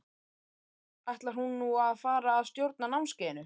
Kræst, ætlar hún nú að fara að stjórna námskeiðinu?